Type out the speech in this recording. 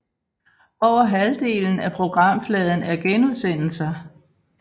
Over halvdelen af programfladen er genudsendelser